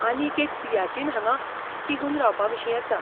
आनीक एक सियाचीन हांगा तिगून रावपाविशीं आसा.